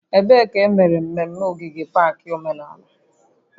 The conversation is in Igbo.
Ebee ka emere mmemme ogige pak omenala?